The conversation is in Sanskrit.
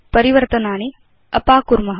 परिवर्तनानि अपाकुर्म